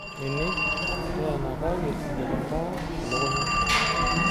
Nini teenakaki enkitambaa elukunya.